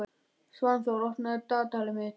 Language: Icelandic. Svanþór, opnaðu dagatalið mitt.